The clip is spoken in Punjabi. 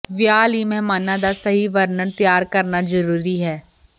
ਵਿਆਹ ਲਈ ਮਹਿਮਾਨਾਂ ਦਾ ਸਹੀ ਵਰਣਨ ਤਿਆਰ ਕਰਨਾ ਜ਼ਰੂਰੀ ਹੈ